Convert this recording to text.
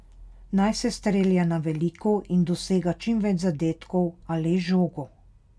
Naj se strelja na veliko in dosega čim več zadetkov, a le z žogo.